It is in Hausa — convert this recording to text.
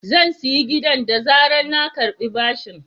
Zan sayi gidan da zarar na karɓi bashin.